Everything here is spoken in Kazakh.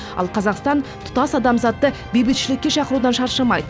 ал қазақстан тұтас адамзатты бейбітшілікке шақырудан шаршамайды